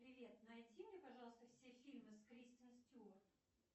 привет найди мне пожалуйста все фильмы с кристен стюарт